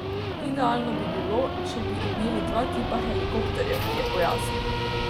Idealno bi bilo, če bi imeli dva tipa helikopterjev, je pojasnil.